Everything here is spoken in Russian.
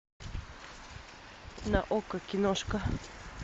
на окко киношка